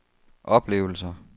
oplevelser